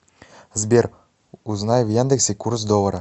сбер узнай в яндексе курс доллара